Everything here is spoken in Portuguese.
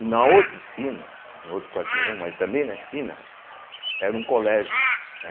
E na outra esquina, no outro quarteirão, mas também na esquina, era um colégio.